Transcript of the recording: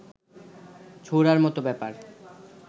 ছোঁড়ার মত ব্যাপার